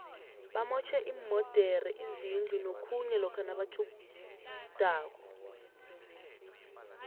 bamotjhe iimodere izindu nokhunye lokha nabatjhudako